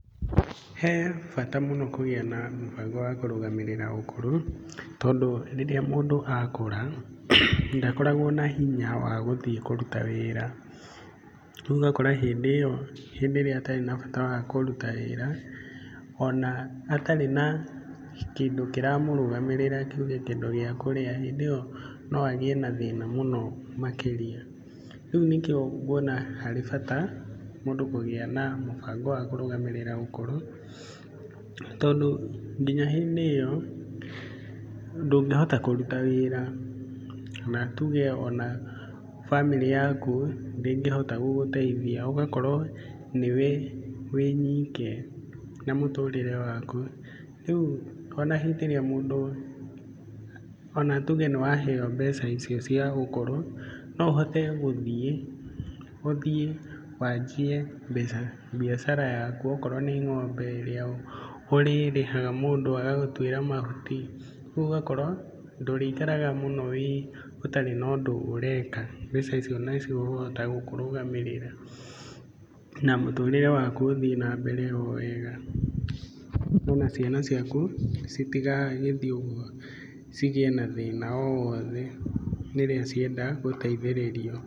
He bata mũno kũgĩa na mũbango wa kũrũgamĩrĩra ũkũrũ. Tondũ rĩrĩa mũndũ akũra, ndakoragwo na hinya wa gũthiĩ kũruta wĩra. Ũgakora hĩndĩ ĩyo hĩndĩ ĩrĩa atarĩ na bata wa kũruta wĩra, ona atarĩ na kĩndũ kĩramũrũgamĩrĩra tuuge kĩndũ gia kũrĩa, hĩndĩ ĩyo no agĩe na thĩna mũno makĩria. Rĩu nĩkĩo nguona harĩ bata mũndũ kũgĩa na mũbango wa kũrũgamĩrĩra andũ akũrũ tondũ nginyaa hĩndĩ ĩyo, ndũngĩhota kũrũta wĩra. Kana tuuge ona bamĩrĩ yaku ndĩngĩhota gũgũteithia, ũgakorwo niwe wĩ nyiike na mũrũrĩre waku. Rĩu ona hĩndĩ ĩrĩa mũndũ, ona tuge nĩwaheo mbeca icio cia ũkũrũ, no ũhote gũthiĩ, ũthiĩ wanjie biathara yaku o korwo nĩ ngombe ĩrĩa ũrĩĩhaga mũndũ agagutwĩra mahuti, ũgakora ndũrĩikaraga mũno ũtarĩ na ũndũ ũreka mbeca icio nĩ cikũhota gũkũrũgamĩrĩra. Na mũtũrĩre waku ũthiĩ na mbere o wega. Kana ona ciana ciaku citigagĩthiĩ uguo cigie na thĩna o wothe rĩrĩa cienda gũteithĩrĩrio.